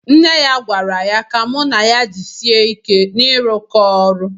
Nne ya gwara ya ka mụ na ya jisie ike na irụkọ ọlụ